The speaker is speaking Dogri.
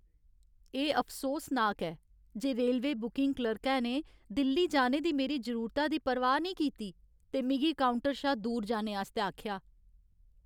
एह् अफसोसनाक ऐ जे रेलवे बुकिंग क्लर्कै ने दिल्ली जाने दी मेरी जरूरता दी परवाह् नेईं कीती ते मिगी काउंटर शा दूर जाने आस्तै आखेआ ।